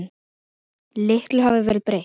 Litlu hafði verið breytt.